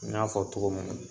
N y'a fɔ togo min na